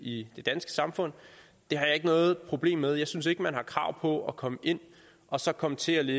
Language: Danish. i det danske samfund det har jeg ikke noget problem med jeg synes ikke at man har krav på at komme ind og så komme til